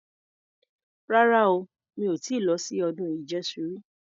Rara o. Mi ò ti lọ sí ọdún ìjẹṣu rí.